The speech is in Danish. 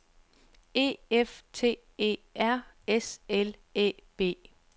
E F T E R S L Æ B